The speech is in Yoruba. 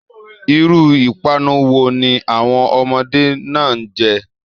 Iru ipanu wo ni àwọn ọmọdé náà n jẹ?